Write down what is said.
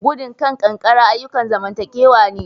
Gudun kan kankara ayukan zamantakewa ne